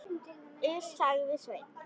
Iss, sagði Sveinn.